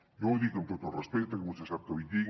jo ho dic amb tot el respecte que vostè sap que li tinc